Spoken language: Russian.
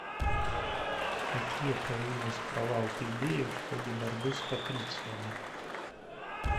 какие появились права у плебеев в ходе борьбы с патрициями